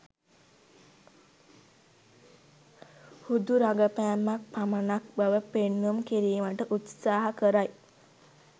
හුදු රගපෑමක් පමණක් බව පෙන්නුම් කිරීමට උත්සාහ කරයි